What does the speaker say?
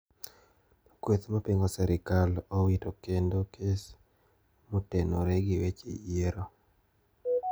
Kweth mapingo serikal owito kendo kes motenoree gi weche yiero.